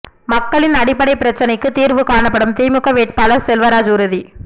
மக்களின் அடிப்படை பிரச்னைக்கு தீர்வு காணப்படும் திமுக வேட்பாளர் செல்வராஜ் உறுதி